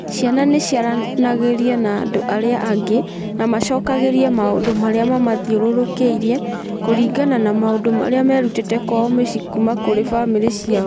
Ciana nĩ ciaranagĩria na andũ arĩa angĩ na macokagĩrie maũndũ marĩa mamũthiũrũrũkĩirie kũringana na maũndũ marĩa merutĩte kwao mĩciĩ kuuma kũrĩ famĩlĩ ciao.